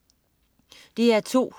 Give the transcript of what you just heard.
DR2: